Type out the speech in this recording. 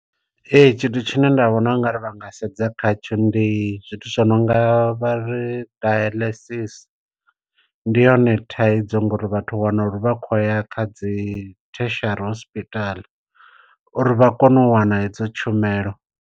Ee tshithu tshine nda vhona ungari vha nga sedza khatsho ndi zwithu zwi no nga vha ri dialysis. Ndi yone thaidzo ngori vhathu wana uri vha khou ya kha dzi theshiari hospital uri vha kone u wana hedzo tshumelo.